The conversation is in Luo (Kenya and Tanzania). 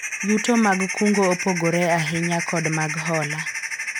yuto mag kungo opogore ahinya kod mag hola